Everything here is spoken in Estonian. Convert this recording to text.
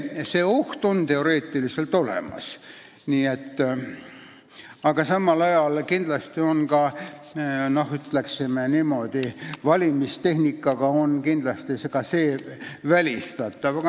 See oht on teoreetiliselt olemas, aga samal ajal on see kindlasti, ütleksin niimoodi, kandidaatide esitamise tehnikaga välistatav.